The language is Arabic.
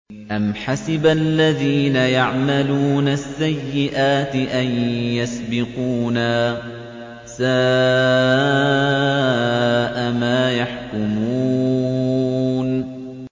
أَمْ حَسِبَ الَّذِينَ يَعْمَلُونَ السَّيِّئَاتِ أَن يَسْبِقُونَا ۚ سَاءَ مَا يَحْكُمُونَ